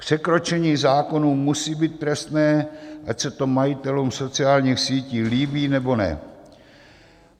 Překročení zákonů musí být trestné, ať se to majitelům sociálních sítí líbí, nebo ne.